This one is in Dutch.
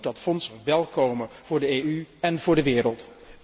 Dan moet dat fonds er wel komen, voor de EU en voor de wereld.